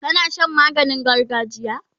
kana Shan maganin gargajiya?